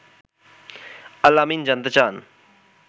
আল আমিন জানতে চান